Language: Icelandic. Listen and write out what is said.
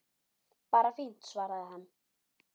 Bara fínt- svaraði hann.